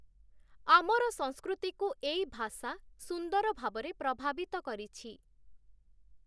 ଆମର ସଂସ୍କୃତିକୁ ଏଇ ଭାଷା ସୁନ୍ଦର ଭାବରେ ପ୍ରଭାବିତ କରିଛି ।